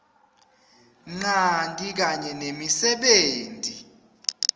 ncanti kanye nemisebenti